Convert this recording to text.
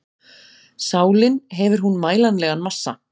Sálin, hefur hún mælanlegan massa?